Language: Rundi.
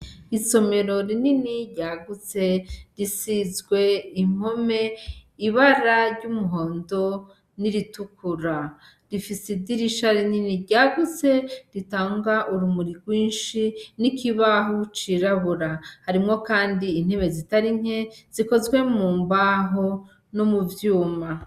Isomero rinini ryagutse risizwe impome ibara ry' umuhondo n' iritukura, rifise idirisha rinini ryagutse ritanga urumuri gwinshi n' ikibaho cirabura, harimwo kandi intebe zitari nke zikozwe mu mbaho no muvyuma.